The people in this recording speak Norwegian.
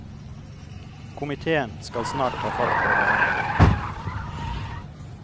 Komitéen skal snart ta fatt på behandlingen.